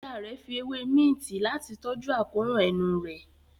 Ìyá rẹ fí ewe Minti Láti tọjú akóràn enú rẹ̀